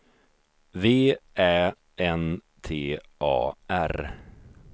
V Ä N T A R